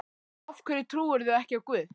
Af hverju trúirðu ekki á guð?